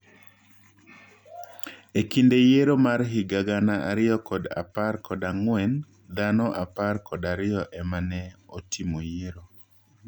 Ekinde yiero mar higa gana ariyo kod apar kod ang'wen, dhano apar kod ariyo ema ne otimo yiero.